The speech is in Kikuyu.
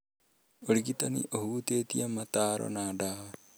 Ũrigitani ũhutĩtie mataaro na ndawa